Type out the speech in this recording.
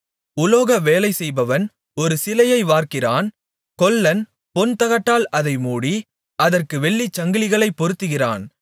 உலோக வேலைசெய்பவன் ஒரு சிலையை வார்க்கிறான் கொல்லன் பொன்தகட்டால் அதை மூடி அதற்கு வெள்ளிச்சங்கிலிகளைப் பொருத்துகிறான்